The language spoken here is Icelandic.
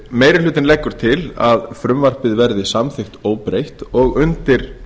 meiri hlutinn leggur til að frumvarpið verði samþykkt óbreytt og undir